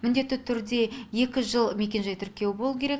міндетті түрде екі жыл мекенжай тіркеуі болу керек